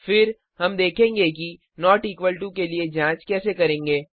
फिर हम देखेंगे कि नॉट इक्वल टू के लिए जांच कैसे करेंगे